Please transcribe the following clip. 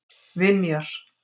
Vinjar